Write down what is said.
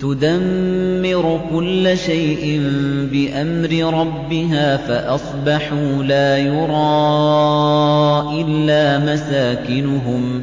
تُدَمِّرُ كُلَّ شَيْءٍ بِأَمْرِ رَبِّهَا فَأَصْبَحُوا لَا يُرَىٰ إِلَّا مَسَاكِنُهُمْ ۚ